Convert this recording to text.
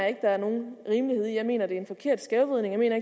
at der er nogen rimelighed i jeg mener at det er en forkert skævvridning jeg mener